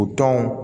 O tɔnw